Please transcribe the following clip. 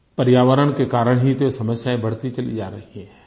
पर्यावरण के कारण ही तो ये समस्याएँ बढ़ती चली जा रही हैं